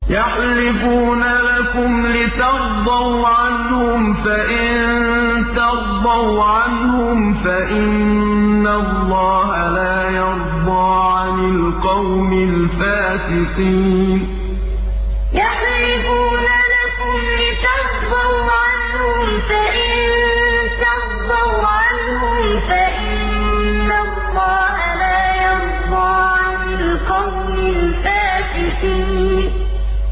يَحْلِفُونَ لَكُمْ لِتَرْضَوْا عَنْهُمْ ۖ فَإِن تَرْضَوْا عَنْهُمْ فَإِنَّ اللَّهَ لَا يَرْضَىٰ عَنِ الْقَوْمِ الْفَاسِقِينَ يَحْلِفُونَ لَكُمْ لِتَرْضَوْا عَنْهُمْ ۖ فَإِن تَرْضَوْا عَنْهُمْ فَإِنَّ اللَّهَ لَا يَرْضَىٰ عَنِ الْقَوْمِ الْفَاسِقِينَ